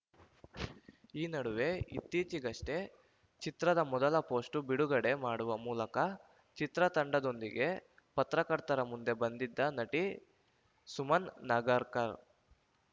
ಈ ನಡುವೆ ಇತ್ತೀಚೆಗಷ್ಟೇ ಚಿತ್ರದ ಮೊದಲ ಪೋಸ್ಟು ಬಿಡುಗಡೆ ಮಾಡುವ ಮೂಲಕ ಚಿತ್ರತಂಡದೊಂದಿಗೆ ಪತ್ರಕರ್ತರ ಮುಂದೆ ಬಂದಿದ್ದ ನಟಿ ಸುಮನ್‌ ನಗರ್‌ಕರ್‌